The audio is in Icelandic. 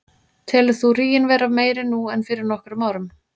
Telur þú ríginn vera meiri nú en fyrir nokkrum árum?